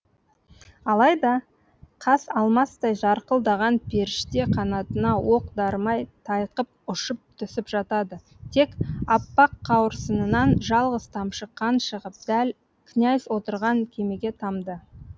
алайда қас алмастай жарқылдаған періште қанатына оқ дарымай тайқып ұшып түсіп жатады тек аппақ қауырсынынан жалғыз тамшы қан шығып дәл князь отырған кемеге тамды